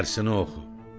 dərsini oxu.